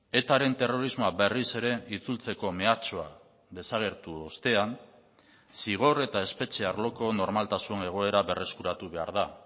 etaren terrorismoa berriz ere itzultzeko mehatxua desagertu ostean zigor eta espetxe arloko normaltasun egoera berreskuratu behar da